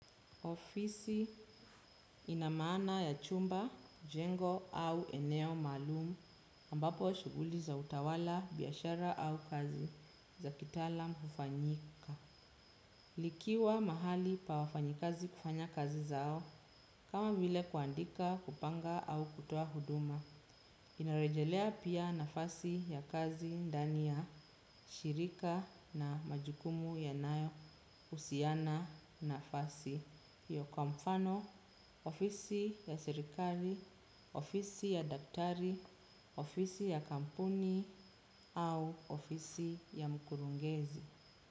Ofisi ina maana ya chumba, jengo au eneo maalum ambapo shughuli za utawala, biashara au kazi za kitaalam hufanyika. Likiwa mahali pa wafanyakazi kufanya kazi zao kama vile kuandika, kupanga au kutoa huduma. Inarejelea pia nafasi ya kazi ndani ya shirika na majukumu yanayohusiana nafasi. Kwa mfano, ofisi ya serikali, ofisi ya daktari, ofisi ya kampuni au ofisi ya mkurugenzi.